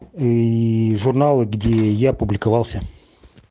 и журналы где я публиковался